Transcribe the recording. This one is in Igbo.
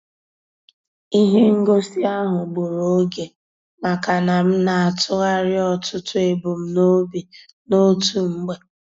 Ihe ngosi ahụ gburu oge maka na m na-atụgharị ọtụtụ ebumnobi n'otu mgbe.